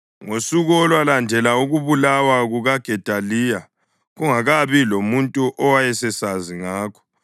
Ngosuku olwalandela ukubulawa kukaGedaliya, kungakabi lamuntu owayesesazi ngakho,